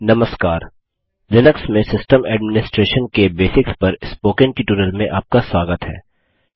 नमस्कार लिनक्स में system administration के बेसिक्स पर स्पोकन ट्युटोरियल में आपका स्वागत है